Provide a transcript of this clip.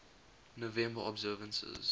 november observances